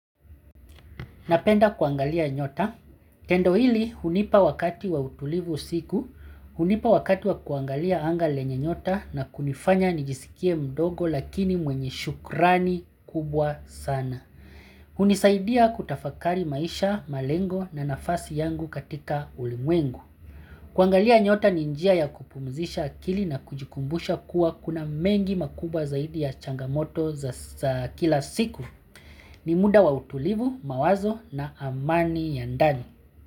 Napenda kuangalia nyota. Tendo hili hunipa wakati wa utulivu siku, hunipa wakati wa kuangalia anga lenye nyota na kunifanya nijisikie mdogo lakini mwenye shukrani kubwa sana. Hunisaidia kutafakari maisha, malengo na nafasi yangu katika ulimwengu. Kuangalia nyota ni njia ya kupumzisha akili na kujikumbusha kuwa kuna mengi makubwa zaidi ya changamoto za kila siku. Ni muda wa utulivu, mawazo na amani ya ndani.